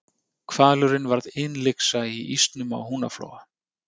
Hvalurinn varð innlyksa í ísnum á Húnaflóa.